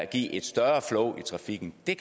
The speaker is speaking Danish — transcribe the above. give et større flow i trafikken